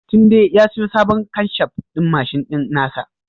Tunde ya siyo sabon kanshaf ɗin mashin ɗin nasa